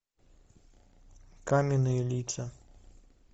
каменные лица